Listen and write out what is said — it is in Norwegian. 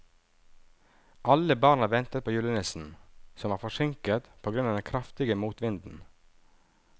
Alle barna ventet på julenissen, som var forsinket på grunn av den kraftige motvinden.